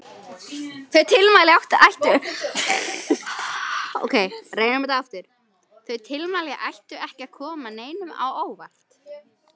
Þau tilmæli ættu ekki að koma neinum á óvart.